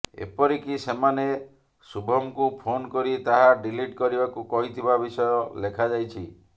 ଏପରିକି ସେମାନେ ଶୁଭମ୍କୁ ଫୋନ୍ କରି ତାହା ଡିଲିଟ୍ କରିବାକୁ କହିଥିବା ବିଷୟ ଲେଖାଯାଇଛି